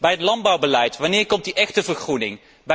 In het landbouwbeleid, wanneer komt die echte vergroening?